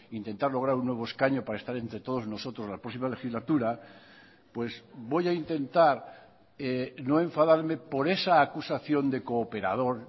intentar lograr un nuevo escaño para estar entre todos nosotros la próxima legislatura pues voy a intentar no enfadarme por esa acusación de cooperador